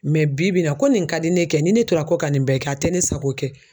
bi bi in na ko nin ka di ne ye ni ne tora kɔ ka nin bɛɛ kɛ a tɛ ne sago ye